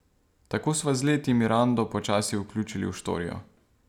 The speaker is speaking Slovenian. Tako sva z leti Mirando počasi vključili v štorijo.